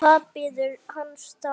Því hvað bíður hans þá?